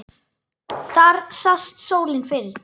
Þar sást sólin fyrr.